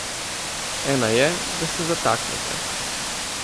Ena je, da se zataknete.